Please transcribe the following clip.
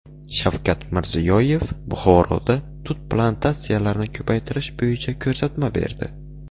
Shavkat Mirziyoyev Buxoroda tut plantatsiyalarini ko‘paytirish bo‘yicha ko‘rsatma berdi.